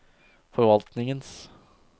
forvaltningens